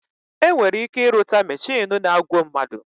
Enwere ike irụta mechinu na-agwo mmadụ